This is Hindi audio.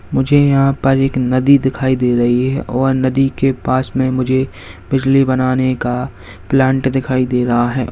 मुझे यहां पर एक नदी दिखाई दे रही है और नदी के पास में मुझे बिजली बनाने का प्लांट दिखाई दे रहा है।